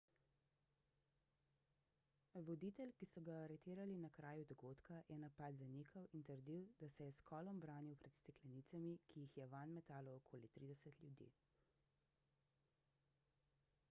voditelj ki so ga aretirali na kraju dogodka je napad zanikal in trdil da se je s kolom branil pred steklenicami ki jih je vanj metalo okoli 30 ljudi